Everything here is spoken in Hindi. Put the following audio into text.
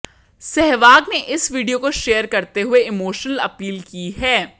सहवाग ने इस वीडियो को शेयर करते हुए इमोश्नल अपील की है